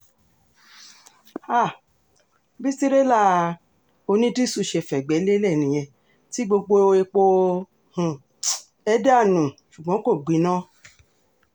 um bí tìrẹ́là onídìíṣu ṣe fẹ̀gbẹ́ lélẹ̀ nìyẹn tí gbogbo epo inú um ẹ̀ dànù ṣùgbọ́n kò gbiná